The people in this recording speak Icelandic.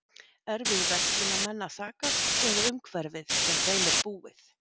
Er við verslunarmenn að sakast eða umhverfið sem þeim er búið?